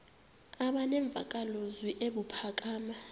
aba nemvakalozwi ebuphakama